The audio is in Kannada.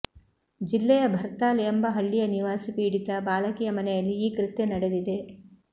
ಜಿಲ್ಲೆಯ ಭರ್ತಾಲ್ ಎಂಬ ಹಳ್ಳಿಯ ನಿವಾಸಿ ಪೀಡಿತ ಬಾಲಕಿಯ ಮನೆಯಲ್ಲಿ ಈ ಕೃತ್ಯ ನಡೆದಿದೆ